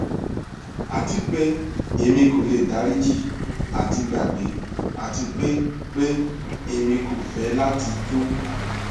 ati pe emi ko le dariji ati gbagbe ati pe pe emi ko fẹ lati tun